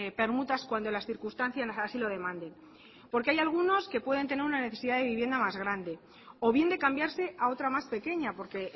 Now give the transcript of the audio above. permutas cuando las circunstancias así lo demanden porque hay algunos que pueden tener una necesidad de vivienda más grande o bien de cambiarse a otra más pequeña porque